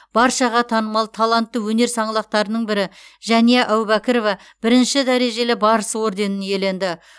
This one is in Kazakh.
баршаға танымал талантты өнер саңлақтарының бірі жәния әубәкірова бірінші дәрежелі барыс орденін иеленді